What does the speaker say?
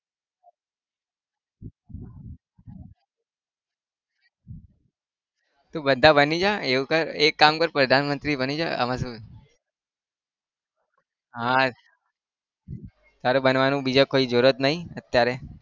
તું બધા બની જા એવું કર એક કામ કર પ્રધાનમંત્રી બની જા એમા શું. હા તારે બનવાનું બીજા કોઈ જરૂરત નહિ અત્યારે